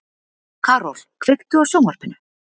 Karol, kveiktu á sjónvarpinu.